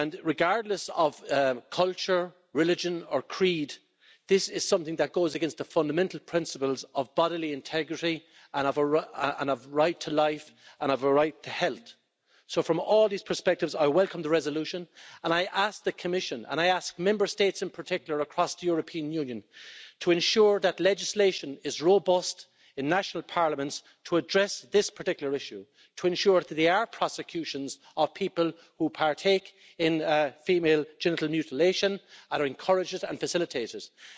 Regardless of culture, religion or creed, this is something that goes against the fundamental principles of bodily integrity and of right to life and a right to health, so from all these perspectives, I welcome the resolution, and I ask the Commission, and I ask Member States in particular across the European Union, to ensure that legislation is robust in national parliaments to address this particular issue, to ensure that there are prosecutions of people who partake in female genital mutilation and encourage it and facilitate it.